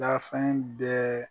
Dafɛn bɛɛ